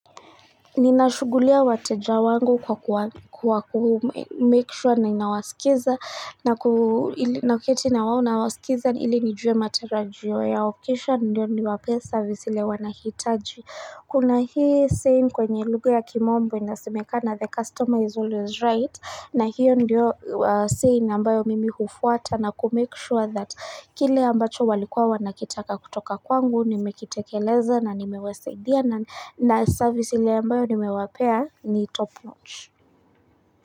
Ninashugulikia wateja wangu kwa kuhakikisha ninawasikiza na kuketi nawasikiza ili nijue matarajio yao kisha ndio niwapee service ile wanahitaji Kuna hii saying kwenye lugha ya kimombo inasemekana the customer is always right na hiyo ndio saying ambayo mimi hufuata na kumake sure that kile ambacho walikuwa wanakitaka kutoka kwangu nimekitekeleza na nimewasaidia na service ile ambayo nimewapea ni top notch.